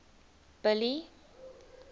billy